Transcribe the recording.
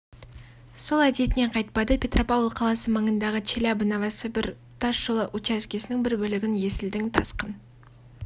сол әдетінен қайтпады петропавл қаласы маңындағы челябі новосібір тас жолы учаскесінің бір бөлігін есілдің тасқын